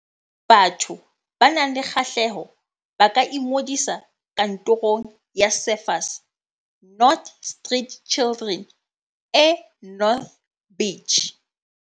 Batho ba nang le kgahleho ba ka ingodisa Kantorong ya Surfers Not Street Children e North Beach.